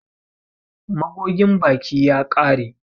Magogin baki ya ƙare.